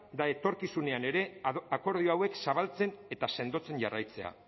da etorkizunean ere akordio hauek zabaltzen eta sendotzen jarraitzea